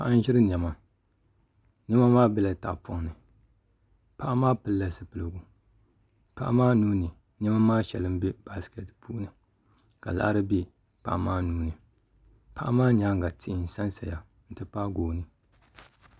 Paɣa n ʒiri niɛma niɛma maa biɛla tahapoŋ ni paɣa maa pilila zipiligu paɣa maa nuuni niɛma maa shɛli n bɛ baskɛt puuni ka laɣari bɛ paɣa maa nuuni paɣa maa nyaanga tihi n sansaya n ti pahi gooni